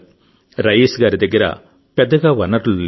రయీస్ గారి దగ్గర పెద్దగా వనరులు లేవు